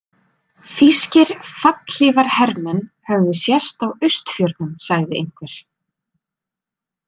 Þýskir fallhlífarhermenn höfðu sést á Austfjörðum, sagði einhver.